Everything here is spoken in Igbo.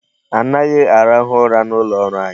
Anaghị arahụ ụra n'ụlọ ọrụ anyị.